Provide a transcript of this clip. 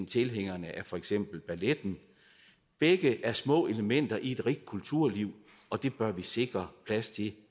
tilhængere af for eksempel balletten begge er små elementer i et rigt kulturliv og det bør vi sikre plads til